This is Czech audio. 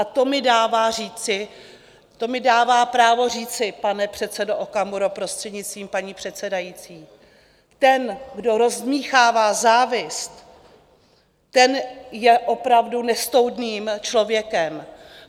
A to mi dává říci, to mi dává právo říci, pane předsedo Okamuro, prostřednictvím paní předsedající: Ten, kdo rozdmýchává závist, ten je opravdu nestoudným člověkem.